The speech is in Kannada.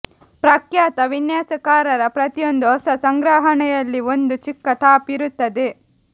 ಪ್ರಖ್ಯಾತ ವಿನ್ಯಾಸಕಾರರ ಪ್ರತಿಯೊಂದು ಹೊಸ ಸಂಗ್ರಹಣೆಯಲ್ಲಿ ಒಂದು ಚಿಕ್ಕ ಟಾಪ್ ಇರುತ್ತದೆ